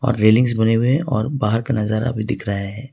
Railings बने हुए है और बाहर का नजारा भी दिख रहा है।